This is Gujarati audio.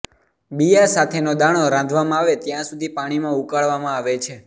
બિયાં સાથેનો દાણો રાંધવામાં આવે ત્યાં સુધી પાણીમાં ઉકાળવામાં આવે છે